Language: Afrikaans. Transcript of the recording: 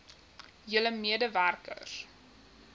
julle mede werkers